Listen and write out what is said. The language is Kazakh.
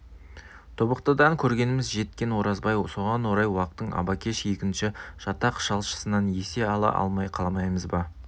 тобықтыдан көргеніміз жеткен оразбай соған орай уақтың арбакеш егінші жатақ жалшысынан есе ала алмай қаламыз ба